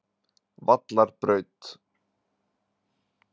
Vallarbraut